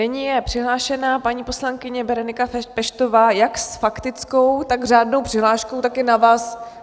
Nyní je přihlášená paní poslankyně Berenika Peštová jak s faktickou, tak s řádnou přihláškou, tak je na vás...